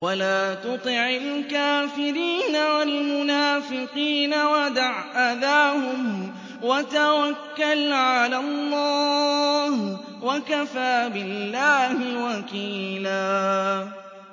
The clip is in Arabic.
وَلَا تُطِعِ الْكَافِرِينَ وَالْمُنَافِقِينَ وَدَعْ أَذَاهُمْ وَتَوَكَّلْ عَلَى اللَّهِ ۚ وَكَفَىٰ بِاللَّهِ وَكِيلًا